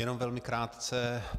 Jenom velmi krátce.